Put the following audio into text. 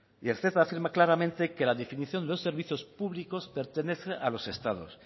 y el ceta afirma claramente que la definición de los servicios públicos pertenece a los estados